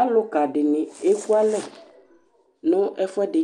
Alʋka dɩnɩ ekualɛ nʋ ɛfʋɛdɩ